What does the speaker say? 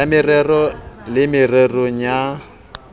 ya mareo le mererong ya